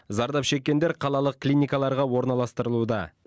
зардап шеккендер қалалық клиникаларға орналастырылуда